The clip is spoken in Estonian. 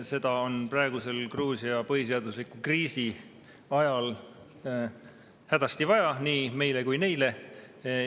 Seda on praeguse Gruusia põhiseadusliku kriisi ajal hädasti vaja nii meile kui ka neile.